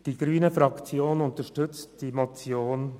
Die grüne Fraktion unterstützt die Anträge folgendermassen: